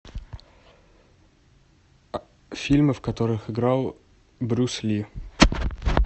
фильмы в которых играл брюс ли